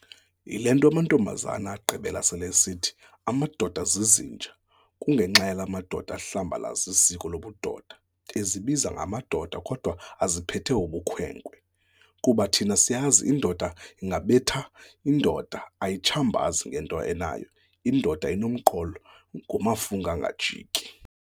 Yilento amantombazana agqibela sele esithi "Amadoda zizinja" kungenxa yala madoda ahlambalaza isiko lobudoda, ezibiza ngamadoda kodwa eziphethe ubukhwenkwe. Kuba thina siyazi indoda ingabethi, indoda ayitshambazi ngento enayo indoda inomqolo ngumafunga angajiki.